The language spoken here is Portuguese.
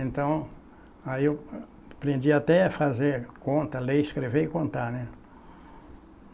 Então, aí eu aprendi até a fazer conta, ler, escrever e contar, né?